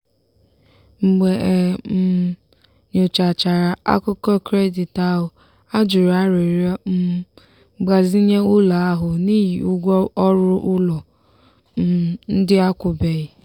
mgbe e um nyochachara akụkọ kredit ahụ a jụrụ arịrịọ um mgbazinye ụlọ ahụ n'ihi ụgwọ ọrụ ụlọ um ndị akwụbeghị.